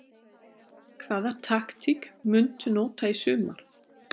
Hvaða taktík muntu nota í sumar?